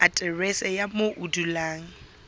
aterese ya moo o dulang